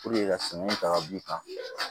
ka sɛnɛ ta ka b'i kan